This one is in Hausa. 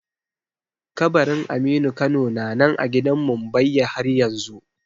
Kabarin aminu kano na nan a gidan mumbbayya haryanzu